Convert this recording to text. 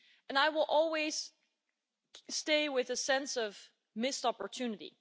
I will always stay with a sense of missed opportunity.